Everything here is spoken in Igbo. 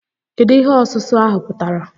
Kedu ihe ọsụsụ ahụ pụtara?